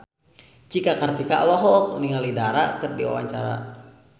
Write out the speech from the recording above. Cika Kartika olohok ningali Dara keur diwawancara